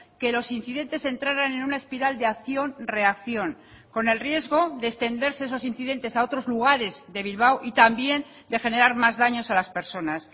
que los incidentes entraran en una espiral de acción reacción con el riesgo de extenderse esos incidentes a otros lugares de bilbao y también de generar más daños a las personas